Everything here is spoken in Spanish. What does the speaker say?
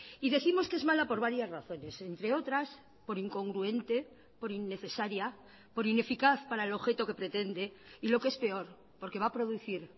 y décimos que es mala por varias razones entre otras por incongruente por innecesaria por ineficaz para el objeto que pretende y lo que es peor porque va a producir